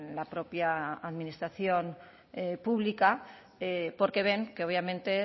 la propia administración pública porque ven que obviamente